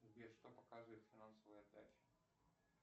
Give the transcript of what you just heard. сбер что показывает финансовая отдача